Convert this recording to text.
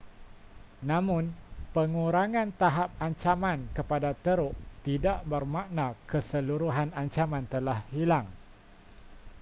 namun, pengurangan tahap ancaman kepada teruk tidak bermakna keseluruhan ancaman telah hilang